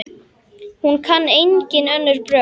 Hún kann engin önnur brögð.